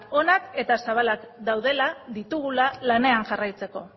onak daudela ditugula lanean jarraitzeko